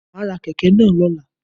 Ma á ra kèké náà lọ́la